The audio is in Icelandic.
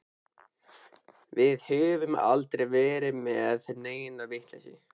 Við höfum aldrei verið með neina vitleysu.